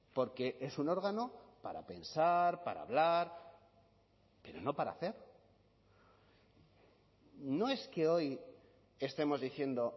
porque es un órgano para pensar para hablar pero no para hacer no es que hoy estemos diciendo